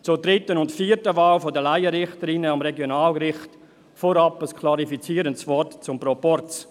Zur dritten und vierten Wahl der Laienrichterinnen am Regionalgericht vorab ein klärendes Wort zum Proporz.